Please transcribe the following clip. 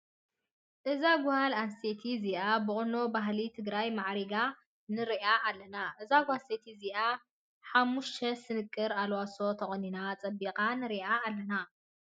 እዛ ጓል ኣነስተይቲ እዚኣ ብቁኖ ባህሊ ትግራይ ማዕሪጋ ንርኣ ኣለና። እዛ ጓል ኣንስተይቲ እዚኣ ሓምሽተ ስንቅር ኣልዋሶ ተቆኒና ፀቢቃ ንርኢኣ ኣለና።